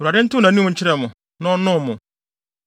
Awurade ntew nʼanim nkyerɛ mo na ɔnnom mo.